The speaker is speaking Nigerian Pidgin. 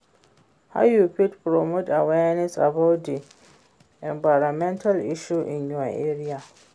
How you fit promote awareness about di environmental issue in your area?